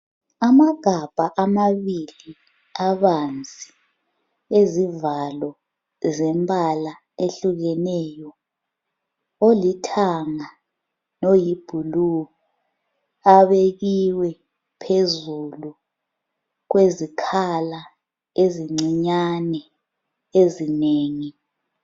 Amagabha amabili abanzi ezivalo zembala ehlukeneyo, olithanga loyi blue abekiwe phezulu kwezikhala ezincinyane ezinengi.